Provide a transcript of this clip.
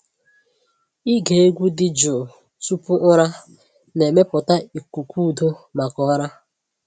Ịge egwu dị jụụ tupu ụra na-emepụta ikuku udo maka ụra.